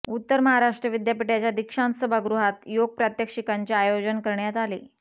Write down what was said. उत्तर महाराष्ट्र विद्यापीठाच्या दीक्षांत सभागृहात योग प्रात्यक्षिकांचे आयोजन करण्यात आले